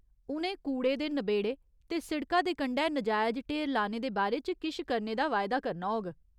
उ'नें कूड़े दे नबेड़े ते सिड़का दे कंढै नजायज ढेर लाने दे बारे च किश करने दा वायदा करना होग।